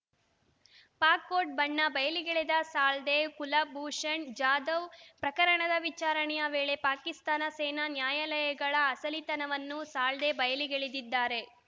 Pak court ಬಣ್ಣ ಬಯಲಿಗೆಳೆದ ಸಾಳ್ವೆ ಕುಲ್‌ಭೂಷಣ್‌ ಜಾಧವ್‌ ಪ್ರಕರಣದ ವಿಚಾರಣೆಯ ವೇಳೆ ಪಾಕಿಸ್ತಾನ ಸೇನಾ ನ್ಯಾಯಾಲಯಗಳ ಅಸಲಿತನವನ್ನು ಸಾಳ್ವೆ ಬಯಲಿಗೆಳೆದಿದ್ದಾರೆ